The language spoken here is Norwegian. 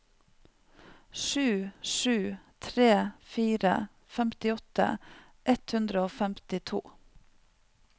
sju sju tre fire femtiåtte ett hundre og femtito